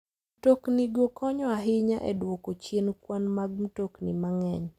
Mtoknigo konyo ahinya e duoko chien kwan mag mtokni mang'eny.